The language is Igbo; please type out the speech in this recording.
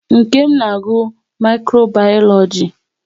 Nkem na-agụ Mikro bayoloji